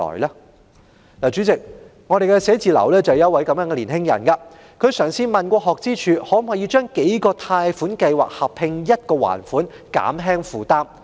代理主席，我的辦事處有位年青人正身處這種狀況，他曾詢問學資處可否合併數個貸款計劃一同還款，以減輕負擔？